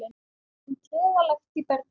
um trega lekt í bergi.